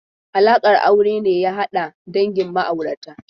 Alaƙar aure ne ya hada dangin ma'aurata.